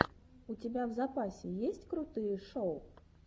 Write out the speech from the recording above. у тебя в запасе есть крутые шоу